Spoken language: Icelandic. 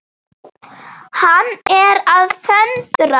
Hann er að föndra.